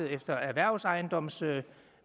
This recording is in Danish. efter erhvervsejendomsregelsættet